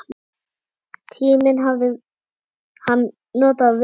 Tímann hafði hann notað vel.